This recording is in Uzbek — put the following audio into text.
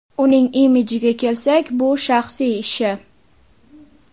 Uning imijiga kelsak, bu shaxsiy ishi.